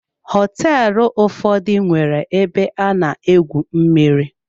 Hoteelu ụfọdụ nwere ebe ana-egwu mmiri.